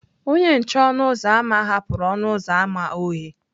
Onye nche ọnụ ụzọ ámá hapụrụ ọnụ ụzọ ámá oghe.